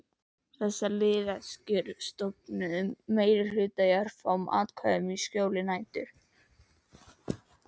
Þessar liðleskjur stofnuðu meirihluta úr örfáum atkvæðum í skjóli nætur.